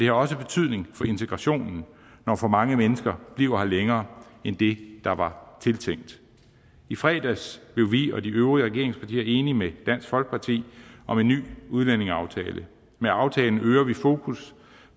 har også betydning for integrationen når for mange mennesker bliver her længere end det der var tiltænkt i fredags blev vi og de øvrige regeringspartier enige med dansk folkeparti om en ny udlændingeaftale med aftalen øger vi fokus